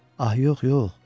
Ah, yox, yox!